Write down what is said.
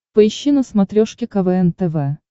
поищи на смотрешке квн тв